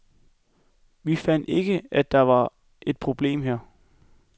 Vi fandt ikke, at der var et problem her.